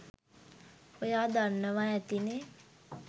ඔයා දන්නවා ඇතිනෙ